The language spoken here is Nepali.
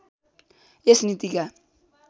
यस नीतिका